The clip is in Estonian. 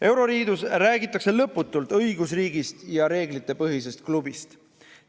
Euroliidus räägitakse lõputult õigusriigist ja reeglitepõhisest klubist.